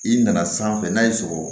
I nana sanfɛ n'a y'i sɔrɔ